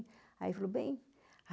Aí ele falou, bem.